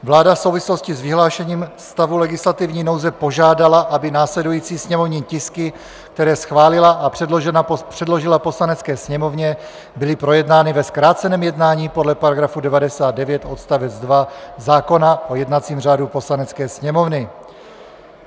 Vláda v souvislosti s vyhlášením stavu legislativní nouze požádala, aby následující sněmovní tisky, které schválila a předložila Poslanecké sněmovně, byly projednány ve zkráceném jednání podle § 99 odst. 2 zákona o jednacím řádu Poslanecké sněmovny.